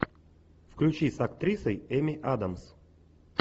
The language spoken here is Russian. включи с актрисой эми адамс